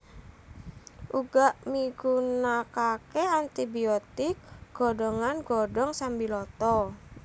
Uga migunakake anti biotik godhongan godhong sambiloto